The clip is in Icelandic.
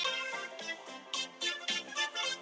spurði hún og nikkaði til hálsfestanna.